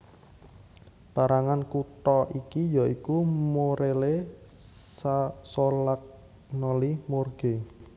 Pérangan kutha iki yaiku Morelle Solagnoli Morge